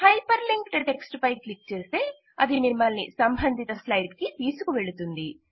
hyper linked text పై click చేస్తే అది మిమ్మలిని సంబంధిత స్లైడ్ కి తీసుకువెళుతుంది